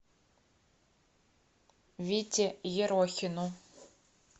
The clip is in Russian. вите ерохину